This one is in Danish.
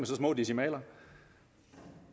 så små decimaler